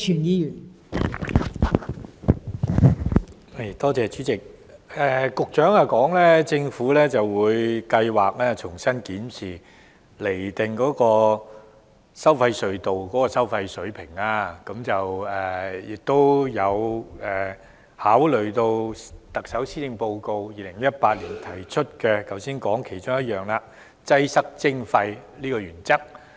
代理主席，局長表示政府計劃重新檢視及釐定收費隧道的收費水平，並會考慮特首在2018年施政報告提出的"擠塞徵費"原則。